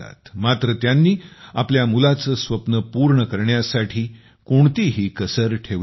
मात्र त्यांनी आपल्या मुलाचे स्वप्न पूर्ण करण्यासाठी कोणतीही कसर ठेवली नाही